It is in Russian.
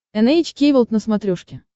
эн эйч кей волд на смотрешке